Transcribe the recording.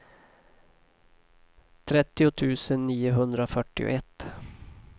trettio tusen niohundrafyrtioett